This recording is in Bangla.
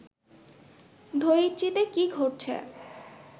ধরিত্রীতে কি ঘটছে